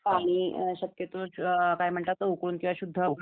पाणी शक्यतोवर काय म्हणतात तर उकळून किंवा शुद्ध उकळी